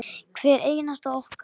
Hvert einasta okkar.